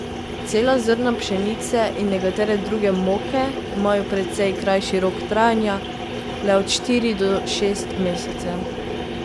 Cela zrna pšenice in nekatere druge moke imajo precej krajši rok trajanja, le od štiri do šest mesecev.